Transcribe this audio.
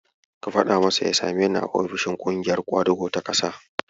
Ka faɗa masa ya sameni a ofishin ƙungiyar ƙwadago ta ƙasa.